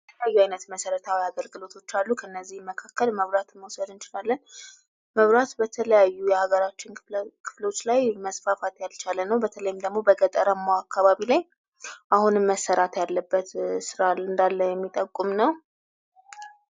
የተለያዩ አይነት መሰረታዊ አገልግሎቶች አሉ። ከእነዚህም መካከል መራትን መውሰድ እንችላለን። መብራት በተለያዩ የሀገራችን ክፍሎች ላይ መስፋፋት ያልቻለ ነው። በተለይም ደግሞ በገጠራማው አካባቢ ላይ አሁንም መሰራት ያለበት ስራ እንዳለ የሚጠቁም ነው።